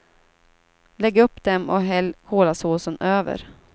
Lägg upp dem och häll kolasåsen över.